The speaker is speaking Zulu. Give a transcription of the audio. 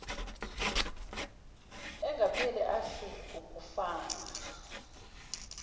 engapheli afise ukufana